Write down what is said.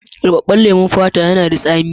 Rubabben lemon fata yana da tsami.